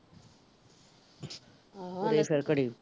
ਤੇ ਫਿਰ ਘੜੀ